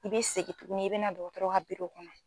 I be segin tuguni i be na dɔgɔtɔrɔ ka biro kɔnɔ